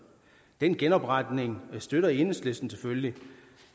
den genopretning støtter enhedslisten selvfølgelig